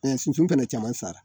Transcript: Ɛ sunsun fana caman sara